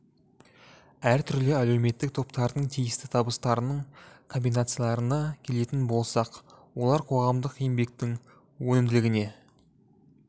әртүрлі әлеуметтік топтардың тиісті табыстарының комбинацияларына келетін болсақ олар қоғамдық еңбектің өнімділігіне